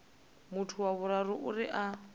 muthu wa vhuraru uri a